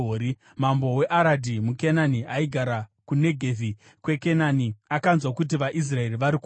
Mambo weAradhi muKenani, aigara kuNegevhi kweKenani, akanzwa kuti vaIsraeri vari kuuya.